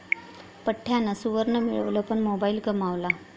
पठ्ठ्यानं सुवर्ण मिळवलं पण मोबाईल गमावला...